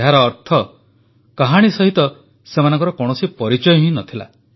ଏହାର ଅର୍ଥ କାହାଣୀ ସହିତ ସେମାନଙ୍କର କୌଣସି ପରିଚୟ ନ ଥିଲା